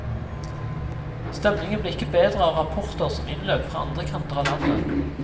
Stemningen ble ikke bedre av rapporter som innløp fra andre kanter av landet.